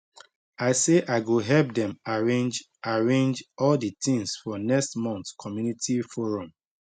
i say i go help them arrange arrange all the things for next month community forum